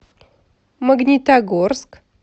магнитогорск